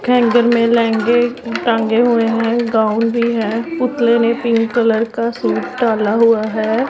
Hanger में लहंगे टांगे हुए है गाऊन भी है पुतले ने पिंक कलर का सूट डाला हुआ है।